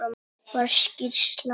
Var skýrsla